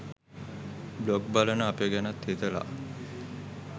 blog බලන අපි ගැනත් හිතලා